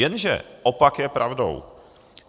Jenže opak je pravdou.